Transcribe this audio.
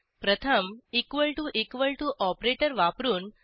1 प्रथम ऑपरेटर वापरून